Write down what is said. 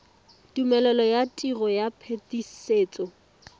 tumelelo ya tiro ya phetisetso